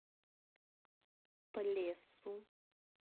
плесу